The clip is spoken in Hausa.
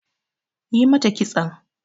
Yi mata kiston!